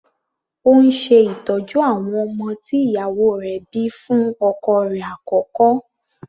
Ó ń ṣe ìtọ́jú àwọn ọmọ tí ìyàwó rẹ̀ bíi fún ọkọ rẹ̀ àkọ́kọ́.